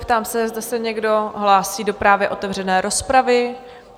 Ptám se, zda se někdo hlásí do právě otevřené rozpravy?